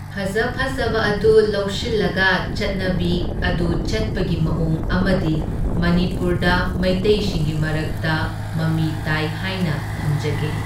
ꯐꯖ ꯐꯖꯕ ꯑꯗꯨ ꯂꯧꯁꯤꯜꯂꯒ ꯆꯠꯅꯕꯤ ꯑꯗꯨ ꯆꯠꯄꯒꯤ ꯃꯑꯣꯡ ꯑꯃꯗꯤ ꯃꯅꯤꯄꯨꯔꯗ ꯃꯩꯇꯩꯁꯤꯡꯒꯤ ꯃꯔꯛꯇ ꯃꯃꯤ ꯇꯥꯏ ꯍꯥꯏꯅ ꯊꯝꯖꯒꯦ꯫